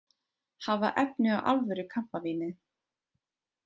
Hafa efni á alvöru kampavíni